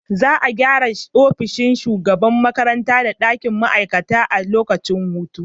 Za a gyara ofishin shugaban makarantar da dakin ma’aikata a lokacin hutu.